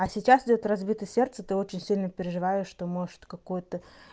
а сейчас идёт разбитое сердце ты очень сильно переживаешь что может какой-то